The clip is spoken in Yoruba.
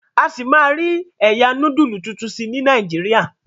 a sí má rí ẹyà nodulu títún sí ní Nàìjíríà.